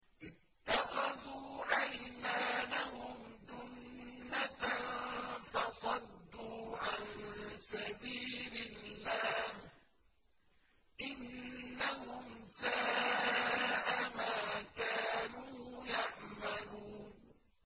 اتَّخَذُوا أَيْمَانَهُمْ جُنَّةً فَصَدُّوا عَن سَبِيلِ اللَّهِ ۚ إِنَّهُمْ سَاءَ مَا كَانُوا يَعْمَلُونَ